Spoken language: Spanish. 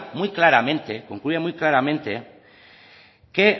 muy claramente que